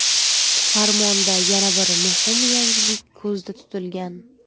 Farmonda yana bir muhim yangilik ko‘zda tutilgan.